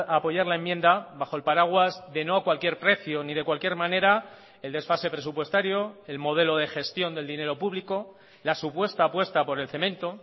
apoyar la enmienda bajo el paraguas de no a cualquier precio ni de cualquier manera el desfase presupuestario el modelo de gestión del dinero público la supuesta apuesta por el cemento